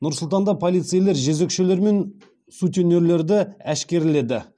нұр сұлтанда полицейлер жезөкшелер мен сутенерлерді әшкереледі